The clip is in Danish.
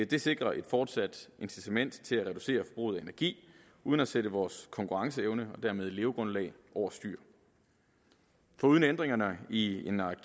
det sikrer et fortsat incitament til at reducere forbruget af energi uden at sætte vores konkurrenceevne og dermed levegrundlag over styr foruden ændringerne i en række